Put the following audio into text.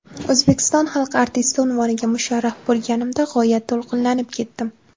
O‘zbekiston xalq artisti unvoniga musharraf bo‘lganimda g‘oyat to‘lqinlanib ketdim.